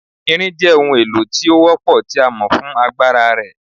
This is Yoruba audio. Irin jẹ ohun elo ile ti o wọ́pọ ti a mọ fun agbara rẹ